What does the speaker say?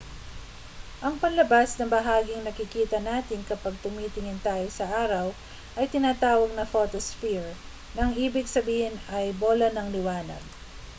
ang panlabas na bahaging nakikita natin kapag tumitingin tayo sa araw ay tinatawag na photosphere na ang ibig sabihin ay bola ng liwanag